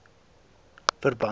verband gesluit